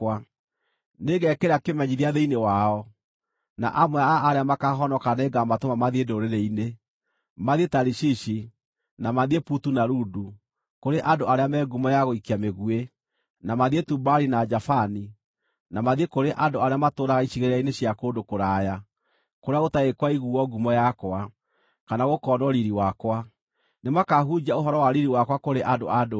“Nĩngekĩra kĩmenyithia thĩinĩ wao, na amwe a arĩa makaahonoka nĩngamatũma mathiĩ ndũrĩrĩ-inĩ: mathiĩ Tarishishi, na mathiĩ Putu na Ludu kũrĩ andũ arĩa me ngumo ya gũikia mĩguĩ, na mathiĩ Tubali na Javani, na mathiĩ kũrĩ andũ arĩa matũũraga icigĩrĩra-inĩ cia kũndũ kũraya, kũrĩa gũtarĩ kwaiguuo ngumo yakwa, kana gũkonwo riiri wakwa. Nĩmakahunjia ũhoro wa riiri wakwa kũrĩ andũ a ndũrĩrĩ.